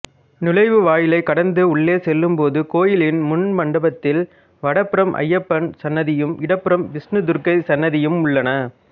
நுழைவாயிலைக் கடந்து உள்ளே செல்லும்போது கோயிலின் முன் மண்டபத்தில் வடப்புறம் ஐயப்பன் சன்னதியும் இடப்புறம் விஷ்ணுதுர்க்கை சன்னதியும் உள்ளன